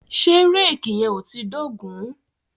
Ṣé réèkì yẹn ò tíì dógùn-ún?